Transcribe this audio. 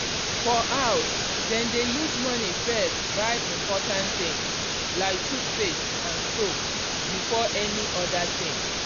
for house dem dey use money first buy important things like toothpaste and soap before any other thing.